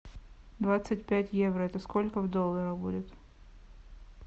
двадцать пять евро это сколько в долларах будет